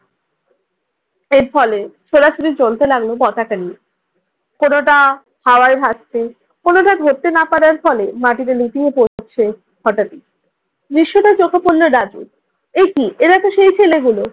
এর ফলে ছোটাছুটি চলতে লাগল পতাকা নিয়ে। কোনোটা হাওয়ায় ভাসছে, কোনোটা ধরতে না পারার ফলে মাটিতে লুটিয়ে পড়ছে। হঠাৎই দৃশ্যটি চোখে পড়লো রাজুর, এ কি এরাতো সেই ছেলেগুলো।